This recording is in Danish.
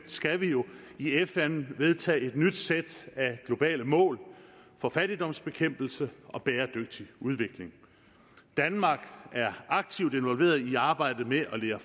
skal vi jo i fn vedtage et nyt sæt af globale mål for fattigdomsbekæmpelse og bæredygtig udvikling danmark er aktivt involveret i arbejdet med at levere